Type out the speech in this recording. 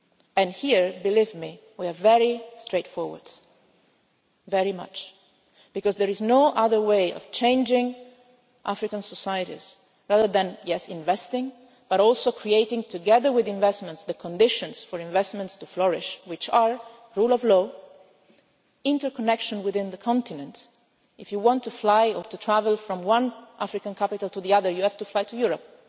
And here, believe me, we are very straightforward, very much so, because there is no other way of changing African societies other than yes, investing, but also creating, together with investments, the conditions for investments to flourish which are the rule of law, interconnection within the continent if you want to fly or to travel from one African capital to another you have to fly to